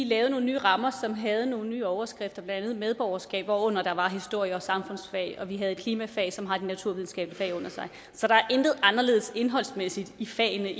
lavede nogle nye rammer som havde nogle nye overskrifter blandt andet medborgerskab hvorunder der var historie og samfundsfag og vi havde klimafag som har de naturvidenskabelige fag under sig så der er intet anderledes indholdsmæssigt i fagene